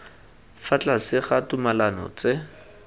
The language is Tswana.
fa tlase ga ditumalano tse